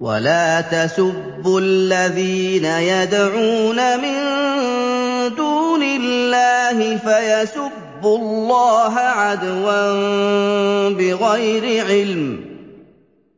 وَلَا تَسُبُّوا الَّذِينَ يَدْعُونَ مِن دُونِ اللَّهِ فَيَسُبُّوا اللَّهَ عَدْوًا بِغَيْرِ عِلْمٍ ۗ